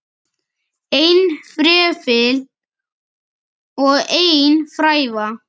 Einn fræfill og ein fræva.